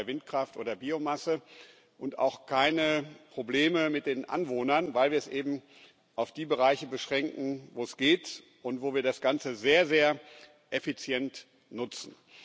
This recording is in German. B. bei Windkraft oder Biomasse und auch keine Probleme mit den Anwohnern gibt, weil wir es eben auf die Bereiche beschränken, wo es geht und wo wir das Ganze sehr, sehr effizient nutzen.